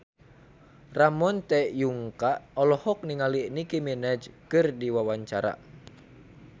Ramon T. Yungka olohok ningali Nicky Minaj keur diwawancara